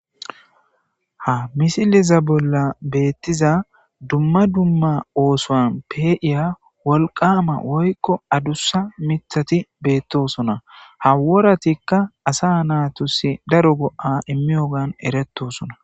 Ha missileza bolla bettiza dumma dumma oththon pe'iiya wolqamma woykko addusa miththati bettosona ha worattika asa natussi daaro go'a immiyoggan erettosona.